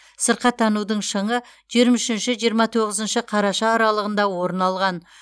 сырқаттанудың шыңы жиырма үшінші жиырма тоғызыншы қараша аралығында орын алған